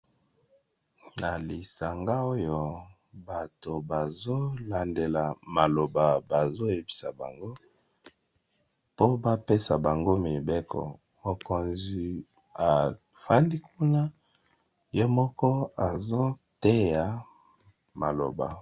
na lisanga oyo bato bazolandela maloba bazoyebisa bango po bapesa bango mibeko mokonzi afandi kuna ye moko azoteya maloba